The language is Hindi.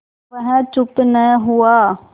वह चुप न हुआ